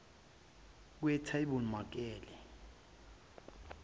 kwetabemakele